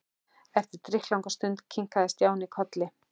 Eftir drykklanga stund kinkaði Stjáni kolli.